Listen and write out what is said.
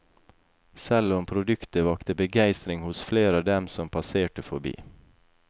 Selv om produktet vakte begeistring hos flere av dem som passerte forbi.